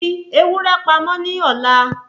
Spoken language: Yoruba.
Fi ewúrẹ́ pamọ́ ní ọ̀la